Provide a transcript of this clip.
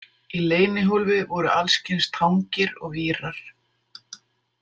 Í leynihólfi voru alls kyns tangir og vírar.